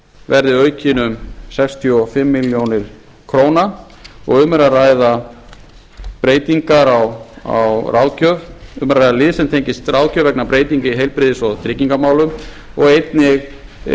verði aukin um sextíu og fimm milljónir króna og um er að ræða lið sem tengist ráðgjöf vegna breytinga í heilbrigðis og tryggingamálum og einnig